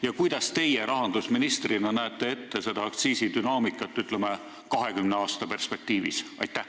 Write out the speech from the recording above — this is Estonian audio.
Ja kuidas teie rahandusministrina näete seda aktsiisi dünaamikat, ütleme, 20 aasta perspektiivis?